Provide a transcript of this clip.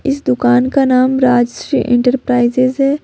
इस दुकान का नाम राजश्री इंटरप्राइजेज है।